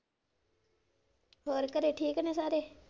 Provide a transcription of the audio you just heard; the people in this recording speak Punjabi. ਹੋਰ ਘਰੇ ਠੀਕ ਨੇ ਸਾਰੇ?